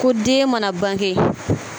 Ko den mana bange.